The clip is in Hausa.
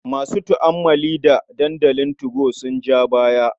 Masu tu'ammali da dandalin 2go sun ja baya.